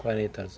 Quarenta anos.